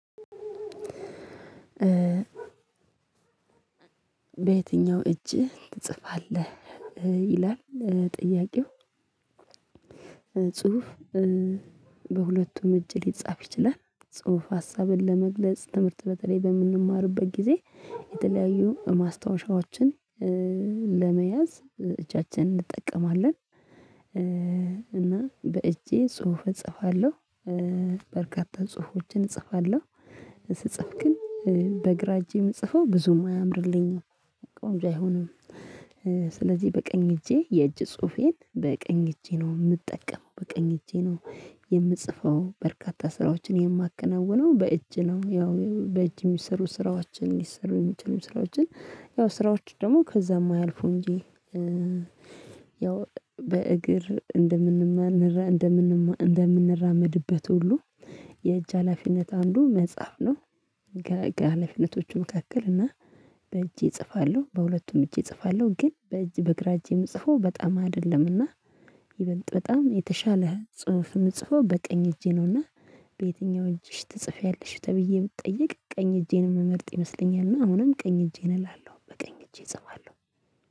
በየትኛው እጅ ትጽፋለህ? ይላል ጥያቄው ጽሁፍ በሁለቱም እጅ ሊጻፍ ይችላል ጽሁፍ ሀሳብን ለመግለጽ ትምህርት በተለይ በምንማርበት ጊዜ የተለያዩ ማስታወሻዎችን ለመያዝ እጃችንን እንጠቀማለን። እና በእጄ ጽሁፍ እጽፋለሁ። በርካታ ጽሁፎችን እጽፋለሁ። ስጽፍ ግን በግራ እጄ የምጽፈው ብዙም አያምርልኝም ወንድ አይሆንም። ስለዚህ በቀኝ እጄ የእጅ ጽሁፌን በቀኝ እጄ ነው የምጠቀመው በቀኝ እጄ ነው። የምጽፈው በርካታ ስራዎችን የማከናውነው በእጅ ነው። ያው በእጅ የሚሰሩ ስራዎችን የሚሰሩ የሚችሉ ስራዎችን ያው ስራዎች ደግሞ ከዛም አያልፉም እንጂ። ያው በእግር እንደምንማንረህ እንደምንማ እንደምንራመድበት ሁሉ የእጅ ሀላፊነት አንዱ መጽሐፍ ነው። ሀላፊነቶቹ መካከል እና በእጄ እጽፋለሁ በሁለቱም እጄ እጽፋለሁ ግን በእጅ በግራ እጄ የምጽፈው በጣም አይደለምና። ይበልጥ በጣም የተሻለ ጽሁፍ የምጽፈው በቀኝ እጄ ነውና። በየትኛው እጅሽ ትጽፊያለሽ? ተብዬ ብትጠይቅ ቀኝ እጄን ምመርጥ ይመስለኛልና አሁንም ቀኝ እጄን እላለሁ በቀኝ እጄ እጸፋለሁ።